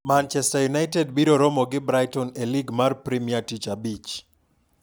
Manchester United biro romo gi Brighton e Lig mar Premia tich abich.